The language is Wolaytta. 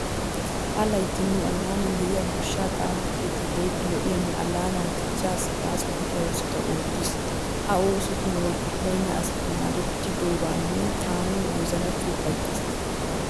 Ha layitti nu allaanan de'iya goshshaa xaafo keettay keehippe lo'iyanne allaanaa dichchaasi baaso gidiya oosota oottiis. Ha oosotun wolqqi bayinna asayi maadetidoogan taani wozanappe ufayittaas.